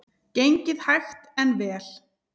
Gengið hægt en vel